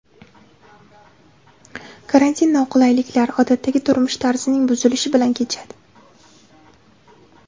Karantin noqulayliklar, odatdagi turmush tarzining buzilishi bilan kechadi.